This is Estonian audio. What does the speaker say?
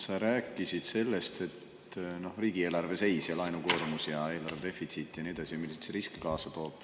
Sa rääkisid riigieelarve seisust ja laenukoormusest ja eelarve defitsiidist ja nii edasi, milliseid riske see kaasa toob.